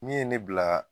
Min ye ne bila